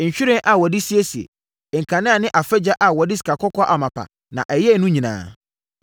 nhwiren a wɔde siesie, nkanea ne afagya a wɔde sikakɔkɔɔ amapa na ɛyɛɛ no nyinaa;